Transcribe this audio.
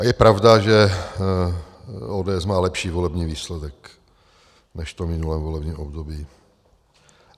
A je pravda, že ODS má lepší volební výsledek než v tom minulém volebním období.